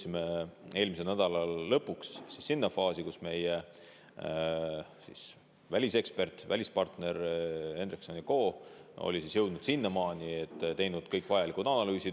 Nüüd, eelmisel nädalal lõpuks me jõudsime sellesse faasi, et meie välisekspert, välispartner Hendrikson & Ko oli jõudnud sinnamaani, et oli ära teinud kõik vajalikud analüüsid.